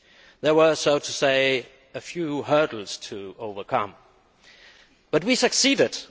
There were quite a few hurdles to overcome, but we succeeded.